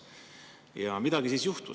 Ja siis midagi juhtus.